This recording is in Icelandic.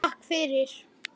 Takk fyrir